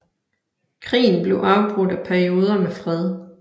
Krigen blev afbrudt af perioder med fred